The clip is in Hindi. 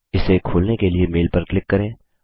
इसे खोलने के लिए मेल पर क्लिक करें